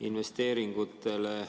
Investeeringutest on palju räägitud.